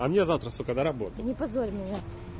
а мне завтра на работу не позорь меня